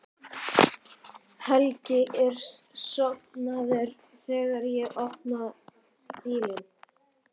Helgi er sofnaður þegar ég opna bílinn.